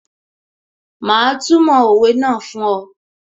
Mà á túmọ̀ òwe náà fún ọ